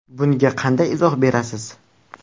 Bunga qanday izoh berasiz.